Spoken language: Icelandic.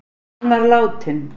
Hann var látinn.